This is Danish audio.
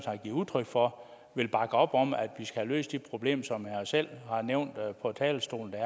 har givet udtryk for vil bakke op om at vi skal have løst det problem som han selv har nævnt på talerstolen at